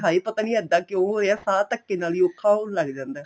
ਹੈ ਪਤਾ ਨੀਂ ਇੱਦਾਂ ਕਿਉਂ ਹੋ ਰਿਹਾ ਸ਼ਾਹ ਧੱਕੇ ਨਾਲ ਹੀ ਔਖਾ ਹੋਣ ਲੱਗ ਜਾਂਦਾ